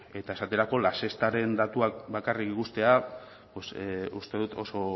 eta esaterako la sextaren datuak bakarrik ikustea uste dut oso